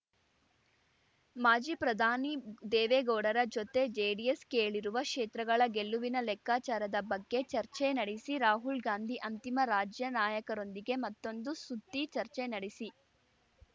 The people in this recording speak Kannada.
ಮಾಜಿ ಪ್ರಧಾನಿ ದೇವೇಗೌಡರ ಜೊತೆ ಜೆಡಿಎಸ್ ಕೇಳಿರುವ ಕ್ಷೇತ್ರಗಳ ಗೆಲುವಿನ ಲೆಕ್ಕಾಚಾರದ ಬಗ್ಗೆ ಚರ್ಚೆ ನಡೆಸಿ ರಾಹುಲ್‌ಗಾಂಧಿ ಅಂತಿಮ ರಾಜ್ಯ ನಾಯಕರೊಂದಿಗೆ ಮತ್ತೊಂದು ಸುತ್ತಿ ಚರ್ಚೆ ನಡೆಸಿ